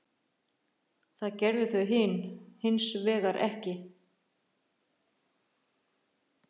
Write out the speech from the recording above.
Það gerðu þau hins vegar ekki.